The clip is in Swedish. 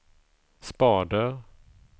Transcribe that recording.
spader